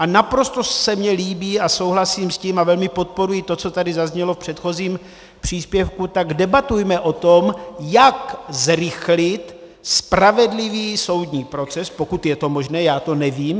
A naprosto se mi líbí a souhlasím s tím a velmi podporuji to, co tady zaznělo v předchozím příspěvku: Tak debatujme o tom, jak zrychlit spravedlivý soudní proces - pokud je to možné, já to nevím.